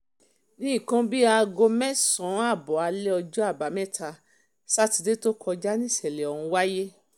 ní nǹkan bíi aago um mẹ́sàn-án ààbọ̀ alẹ́ ọjọ́ àbámẹ́ta um sátidé tó kọjá níṣẹ̀lẹ̀ ọ̀hún wáyé